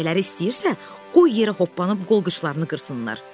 Ürəkləri istəyirsə, qoy yerə hoppanıb qol qıçlarını qırsınlar.